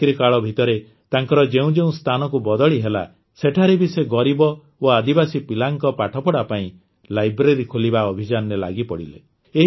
ଚାକିରିକାଳ ଭିତରେ ତାଙ୍କର ଯେଉଁ ଯେଉଁ ସ୍ଥାନକୁ ବଦଳି ହେଲା ସେଠାରେ ବି ସେ ଗରିବ ଓ ଆଦିବାସୀ ପିଲାଙ୍କ ପାଠପଢ଼ା ପାଇଁ ଲାଇବ୍ରେରୀ ଖୋଲିବା ଅଭିଯାନରେ ଲାଗିପଡ଼ିଲେ